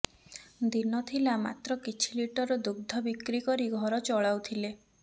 ଦିନ ଥିଲା ମାତ୍ର କିଛି ଲିଟର ଦୁଗ୍ଧ ବିକ୍ରି କରି ଘର ଚଲାଉଥିଲେ